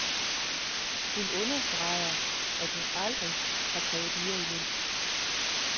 Hun understreger, at hun aldrig har krævet mere i løn.